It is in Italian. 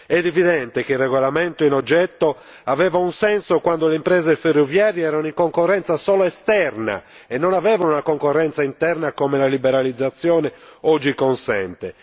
È evidente che il regolamento in oggetto aveva un senso quando le imprese ferroviarie erano in concorrenza solo esterna e non avevano una concorrenza interna, come la liberalizzazione oggi consente.